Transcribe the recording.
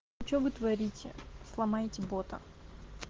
что вы творите сломаете бота